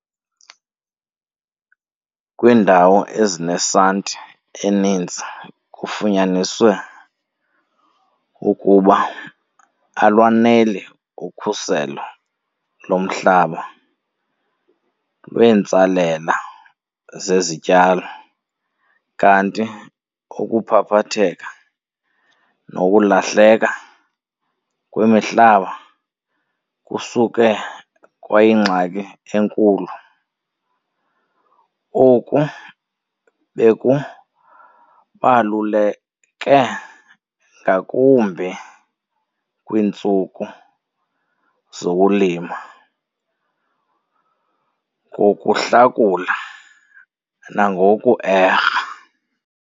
Kwiindawo ezinesanti eninzi kufunyaniswe ukuba alwaneli ukhuselo lomhlaba lweentsalela zezityalo kanti ukuphaphatheka nokulahleka kwemihlaba kusuke kwayingxaki enkulu. Oku bekubaluleke ngakumbi kwiintsuku zokulima ngokuhlakula nangoku-erha.